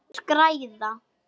Þeir græða.